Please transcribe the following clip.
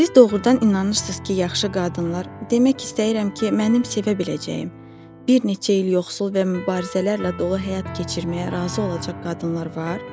Siz doğrudan inanırsınız ki, yaxşı qadınlar demək istəyirəm ki, mənim sevə biləcəyim, bir neçə il yoxsul və mübarizələrlə dolu həyat keçirməyə razı olacaq qadınlar var?